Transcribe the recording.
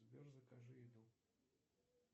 сбер закажи еду